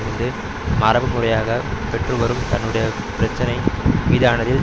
இருந்து மரபுரிமையாக பெற்றுவரும் தன்னுடைய பிரச்சினை மீதானதில்